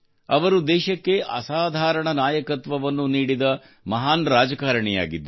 ಅವರು ದೇಶಕ್ಕೆ ಅಸಾಧಾರಣ ನಾಯಕತ್ವವನ್ನು ನೀಡಿದ ಮಹಾನ್ ರಾಜಕಾರಿಣಿ ಆಗಿದ್ದರು